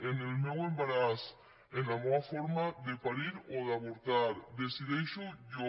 en el meu embaràs en la meua forma de parir o d’avortar decideixo jo